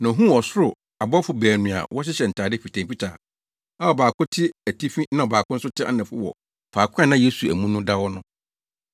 na ohuu ɔsoro abɔfo baanu a wɔhyehyɛ ntade fitafitaa a ɔbaako te atifi na ɔbaako nso te anafo wɔ faako a na Yesu amu no da no.